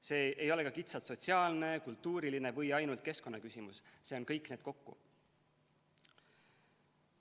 See ei ole ka kitsalt sotsiaalne, kultuuriline või ainult keskkonnaküsimus, see on kõik need kokku.